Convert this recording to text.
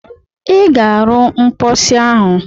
Ị ga-arụ mposi ọhụrụ!